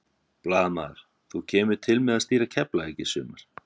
Blaðamaður: Þú kemur til með að stýra Keflavík í sumar?